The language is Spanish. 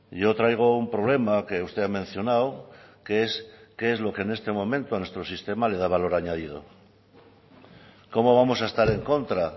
yo traigo un problema que usted ha mencionado que es qué es lo que en este momento a nuestro sistema le da valor añadido cómo vamos a estar en contra